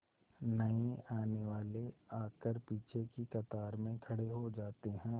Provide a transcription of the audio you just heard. नए आने वाले आकर पीछे की कतार में खड़े हो जाते हैं